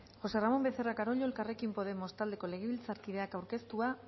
josé ramón becerra carollo elkarrekin podemos taldeko legebiltzarkideak aurkeztua